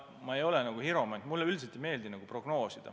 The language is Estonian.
Ma ei ole hiromant, mulle üldiselt ei meeldi prognoosida.